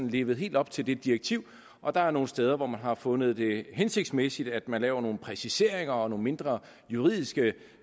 levede helt op til det direktiv og der er nogle steder hvor man har fundet det hensigtsmæssigt at man laver nogle præciseringer og nogle mindre juridiske